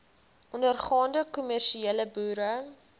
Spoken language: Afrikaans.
ondergaande kommersiële boere